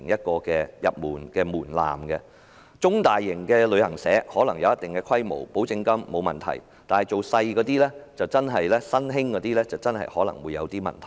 具有一定規模的中大型旅行社，繳付保證金是沒有問題的，但一些較小型的新興公司可能會有些問題。